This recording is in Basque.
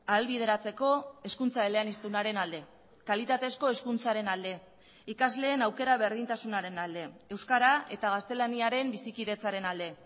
ahalbideratzeko hezkuntza eleaniztunaren alde kalitatezko hezkuntzaren alde ikasleen aukera berdintasunaren alde euskara eta gaztelaniaren bizikidetzaren alde